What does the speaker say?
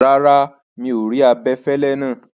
Rárá, mi o rí abẹ̀fẹ̀lẹ̀ náà.